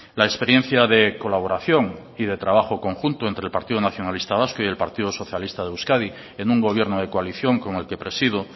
la experiencia de colaboración y de trabajo conjunto entre el partido nacionalista vasco y el partido socialista de euskadi en un gobierno de coalición como el que presido